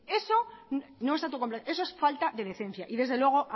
eso es falta de decencia y desde luego